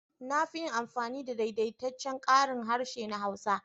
Na fi yin amfani da daidaitaccen karin harshe na Hausa.